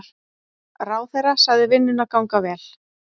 Ráðherra sagði vinnuna ganga vel.